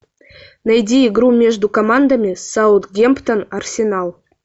найди игру между командами саутгемптон арсенал